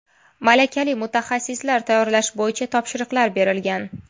Malakali mutaxassislar tayyorlash bo‘yicha topshiriqlar berilgan.